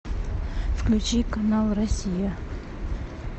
включи канал россия